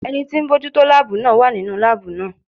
Ẹni tí ń bójú tó láàbù náà wà nínú láàbù náà.